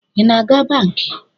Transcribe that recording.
I na-aga banki?